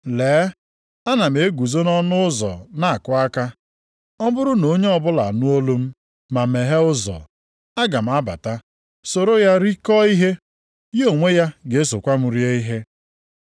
Lee, ana m eguzo nʼọnụ ụzọ na-akụ aka. Ọ bụrụ na onye ọbụla anụ olu m ma meghee ụzọ, aga m abata soro ya rikọọ ihe, ya onwe ya ga-esokwa m rie ihe.